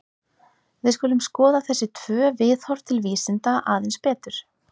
Við skulum skoða þessi tvö viðhorf til vísinda aðeins betur.